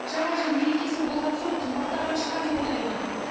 жаңа жыл мерекесі болған соң қымбаттаған шығар деп ойлаймын